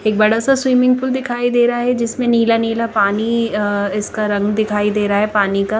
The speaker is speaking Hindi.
एक बड़ा सा स्विमिंग पूल दिखाई दे रहा है जिसमे नीला नीला पानी अः इसका रंग दिखाई दे रहा है पानी का --